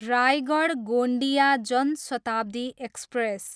Raigarh, Gondia Jan Shatabdi express